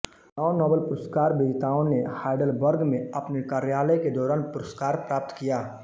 नौ Nobel पुरस्कार विजेताओं ने हाइडलबर्ग में अपने कार्यकाल के दौरान पुरस्कार प्राप्त किया